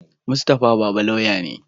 Mustapha baba lauya ne